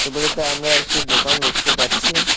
মূলত আমরা একটি দোকান দেখতে পাচ্ছি।